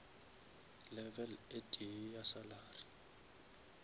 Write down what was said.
level e tee ya salary